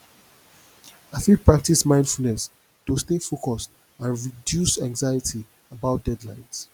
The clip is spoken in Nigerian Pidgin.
i fit practice mindfulness to stay focused and reduce anxiety about deadlines